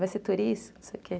Vai ser turista, não sei o quê.